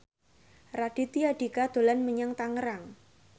Raditya Dika dolan menyang Tangerang